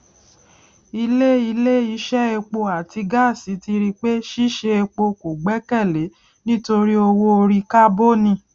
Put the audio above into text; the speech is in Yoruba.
ilé ilé iṣẹ epo àti gáàsì ti ri pé ṣíṣe epo kò gbẹkèlé nítorí owó orí kábònì